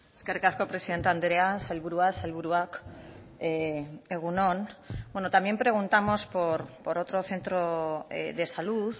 eskerrik asko presidente andrea sailburua sailburuak egun on bueno también preguntamos por otro centro de salud